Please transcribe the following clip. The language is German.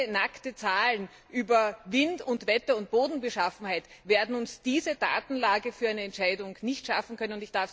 Reine nackte Zahlen über Wind und Wetter und Bodenbeschaffenheit werden uns diese Datenlage für eine Entscheidung nicht schaffen können.